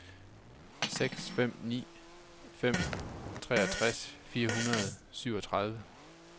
seks fem ni fem treogtres fire hundrede og syvogtredive